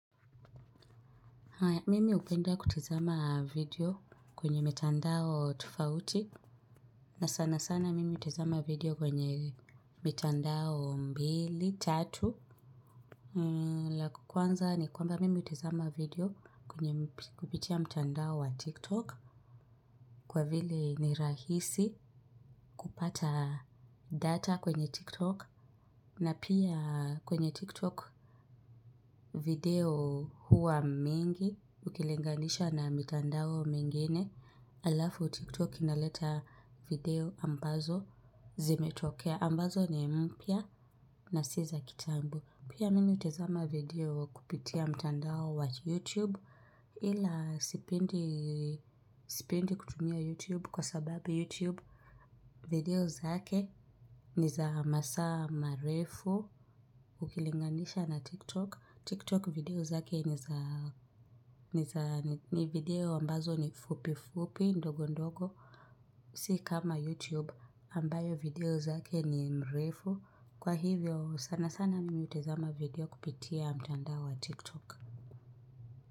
Mimi hupenda kutizama video kwenye mitandao tofauti. Na sana sana mimi utizama video kwenye mitandao mbili, tatu. La kwanza ni kwamba mimi utizama video kupitia mtandao wa tiktok. Kwa vile ni rahisi kupata data kwenye tiktok. Na pia kwenye tiktok video huwa mingi ukilinganisha na mitandao mingine alafu tiktok inaleta video ambazo zimetokea ambazo ni mpya na si za kitambo pia minmi hutizama video kupitia mtandao wa youtube ila sipendi kutumia youtube kwa sababu youtube video zake ni za masa marefu ukilinganisha na tiktok TikTok video zake ni video ambazo ni fupi fupi ndogo ndogo. Si kama YouTube ambayo video zake ni mrefu. Kwa hivyo sana sana mimi utazama video kupitia mtandao wa TikTok.